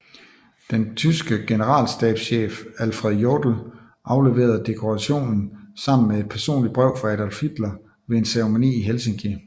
Den tyske generalstabschef Alfred Jodl afleverede dekorationen sammen med et personligt brev fra Adolf Hitler ved en ceremoni i Helsinki